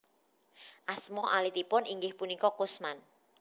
Asma alitipun inggih punika Kusman